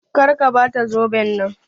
Kar ka Bata zoben nan.